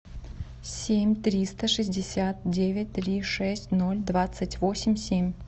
семь триста шестьдесят девять три шесть ноль двадцать восемь семь